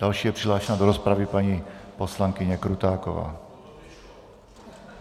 Další je přihlášena do rozpravy paní poslankyně Krutáková.